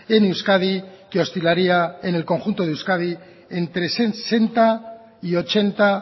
en euskadi que oscilaría en el conjunto de euskadi entre sesenta y ochenta